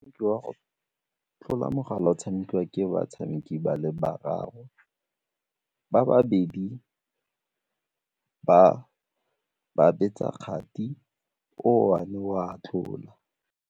Ke wa go tlola mogala o tshamekiwa ke batshameki ba le bararo, ba babedi ba betsa kgati o one o a tlola.